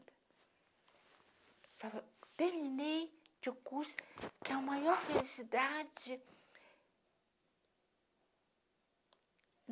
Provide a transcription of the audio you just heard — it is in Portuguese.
Falaram, terminei de curso, que é a maior felicidade.